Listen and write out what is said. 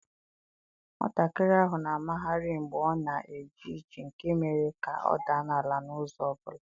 Nwatakịrị ahụ na-amagharị mgbe ọ na-eje ije nke mere ka ọ daa n'ala n'ụzọ ọ bụla.